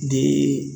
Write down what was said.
Ni